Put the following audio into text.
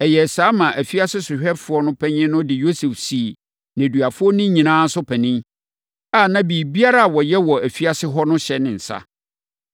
Ɛyɛɛ saa maa afiase sohwɛfoɔ panin no de Yosef sii nneduafoɔ no nyinaa so panin, a na biribiara a wɔyɛ wɔ afiase hɔ no hyɛ ne nsa.